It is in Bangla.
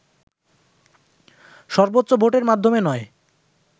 সর্বোচ্চ ভোটের মাধ্যমে নয়